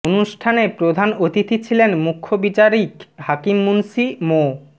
অনুষ্ঠানে প্রধান অতিথি ছিলেন মুখ্য বিচারিক হাকিম মুন্সি মো